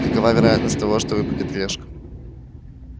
какова вероятность того что выпадет решка